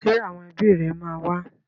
Ṣé àwọn ẹbí rẹ máa wá?